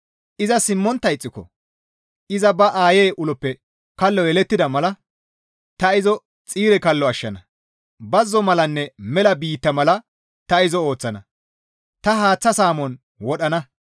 Iza simmontta ixxiko iza ba aayey uloppe kallo yelettida mala ta izo xiire kallo ashshana. Bazzo malanne mela biitta mala ta izo ooththana. Ta izo haaththa saamon wodhana.